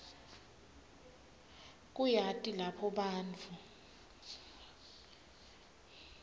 kuyati lapho bantfu